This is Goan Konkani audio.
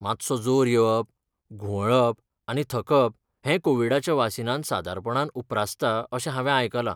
मात्सो जोर येवप, घुंवळप आनी थकप हें कोविडाच्या वासिनांत सादारणपणान उप्रासता अशें हांवें आयकलां.